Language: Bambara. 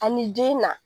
Ani den na